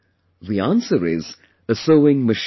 The answer is a sewing machine